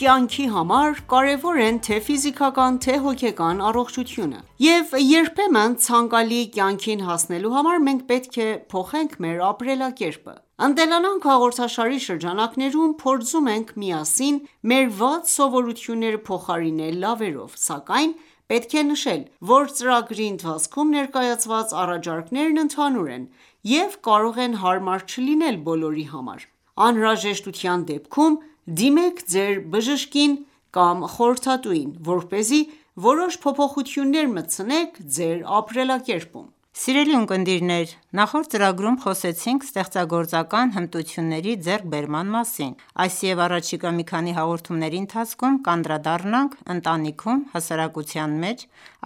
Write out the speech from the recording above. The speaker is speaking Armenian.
կյանքի համար կարևոր են թե ֆիզիկական թե հոգեկան առողջությունը: Եվ երբեմն ցանկալի կյանքին հասնելու համար մենք պետք է փոխենք մեր ապրելակերպը: «Ընտելանանք» հաղորդաշարի շրջանակներում փորձում ենք միասին մեր վատ սովորությունները փոխարինել լավերով: Սակայն պետք է նշել, որ ծրագրի ընթացքում ներկայացված առաջարկներն ընդհանուր են և կարող են հարմար չլինել բոլորի համար: Անհրաժեշտության դեպքում դիմեք ձեր բժշկին կամ խորհրդատուին, որպեսզի որոշ փոփոխություններ մտցնեք ձեր ապրելակերպում: Ողջույն, սիրելի ունկնդիրներ, նախորդ ծրագրում խոսեցինք ստեղծագործական հմտությունների ձեռքբերման մասին: Այս և առաջիկա մի քանի հաղորդումների ընթացքում կանդրադառնանք ընտանիքում, հասարակության մեջ,